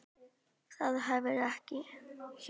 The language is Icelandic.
Það var hefð hjá okkur.